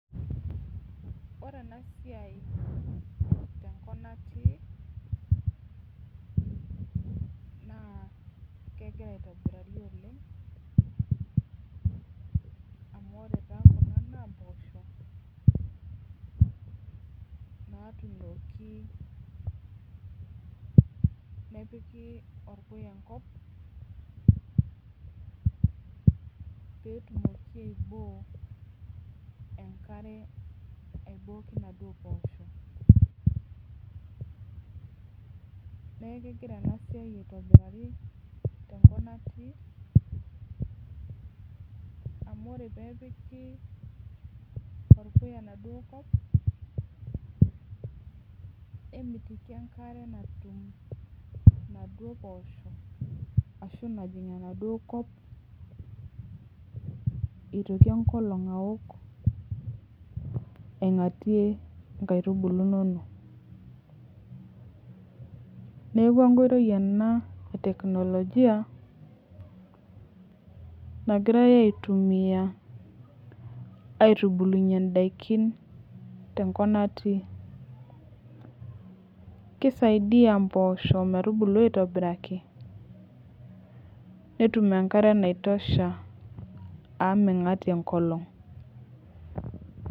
Ore ena siai tenkop natii naa kegira aitobiraki oleng amu ore taa Kuna naa mboshok natunoki nepiki orpuya enkop petumoki aiboo enkare aibokie Kuna poshok neeku kegira enasiai aitobiraki tenkop natii amu ore pee epiki orpuya enkop nemitiki enkare najig naaduo poshok ashu najig enaduo kop entoki enkolog awok aing'atie nkaitubulu enono neeku enkoitoi ena ee tekinolojia nagirai aitumia aitubulunye endaikin tenkop natii keisaidia mboshok metubulu aitobiraki netum enkare naitosha amu mingatie enkolog